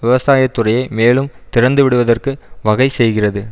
விவசாயத்துறையை மேலும் திறந்துவிடுவதற்கு வகை செய்கிறது